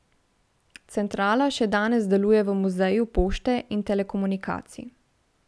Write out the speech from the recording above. Centrala še danes deluje v Muzeju pošte in telekomunikacij.